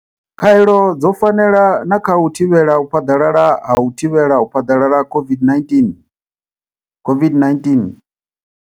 Khaelo dzo fanela na kha u thivhela u phaḓalala ha u thivhela u phaḓalala ha COVID-19, COVID-19.